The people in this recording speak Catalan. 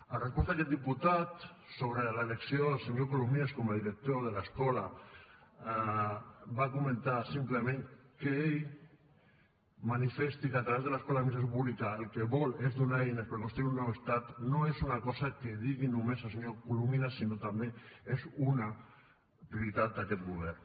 en resposta a aquest diputat sobre l’elecció del senyor colomines com a director de l’escola va comentar simplement que que ell manifesti que a través de l’escola d’administració pública el que vol és donar eines per construir un nou estat no és una cosa que digui només el senyor colomines sinó que també és una prioritat d’aquest govern